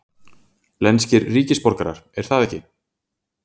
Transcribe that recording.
lenskir ríkisborgarar, er það ekki?